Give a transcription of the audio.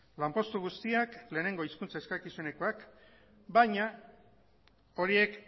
lanpostu guztiak lehenengo hizkuntza eskakizunekoak baina horiek